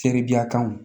Seribiya kanw